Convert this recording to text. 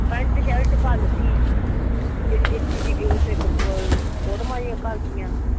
Pant shirt ਘੱਲ ਤੀ। ਜਿਹੜੀ ਦਿੱਤੀ ਸੀ . ਇੱਕ ਵਾਰ ਫ਼ੋਟਵਾਂ ਜਿਹੀਆਂ ਘੱਲਤੀਆਂ।